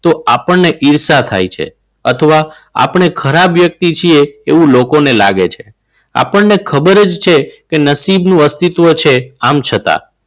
તો આપણને ઈર્ષા થાય છે અથવા આપણે ખરાબ વ્યક્તિ છીએ એવું લોકોને લાગે છે. આપણને ખબર જ છે કે નસીબનું અસ્તિત્વ છે આમ છતાં.